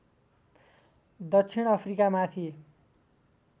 दक्षिण अफ्रिकामाथि